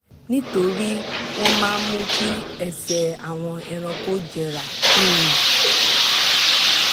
nítorí wọ́n máa mú kí ẹsẹ̀ àwọn ẹranko jẹrà um